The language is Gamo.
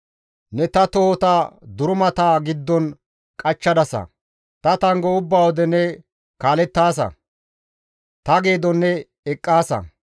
Ne ta tohota durumata giddon qachchadasa; ta tanggo ubba wode ne kaalettaasa; ta geedon ne eqqaasa.